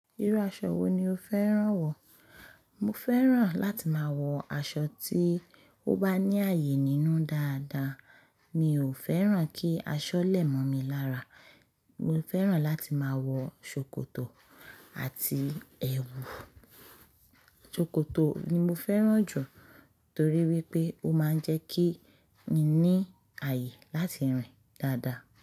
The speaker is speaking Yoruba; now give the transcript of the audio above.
Irú aṣọ wo ni o fẹ́ràn wọ̀? Mo fẹ́ràn láti máa wọ aṣọ tí ó bá ní àyè nínú dáadáa. Mi ò fẹ́ràn kí aṣọ lẹ̀mọ̀mi lára. Mo fẹ́ràn láti máa wọ ṣòkòtò àti ẹwù. Ṣòkòtò ni mo fẹ́ràn jù torí wípé ó máa ń jẹ́ kí n ní àyè láti rìn dáadáa.